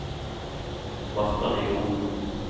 Marta Nymoen